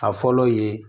A fɔlɔ ye